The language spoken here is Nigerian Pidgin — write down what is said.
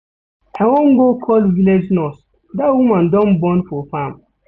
I wan go call village nurse, dat woman don born for farm.